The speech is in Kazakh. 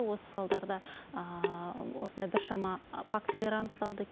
осы салдарда осындай біршама фактілер анықталды